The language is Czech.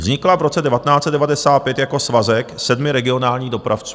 Vznikla v roce 1995 jako svazek sedmi regionálních dopravců.